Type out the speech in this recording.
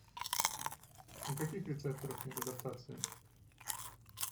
у каких рецепторов нет адаптации